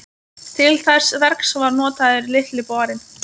Til þess verks var notaður Litli borinn.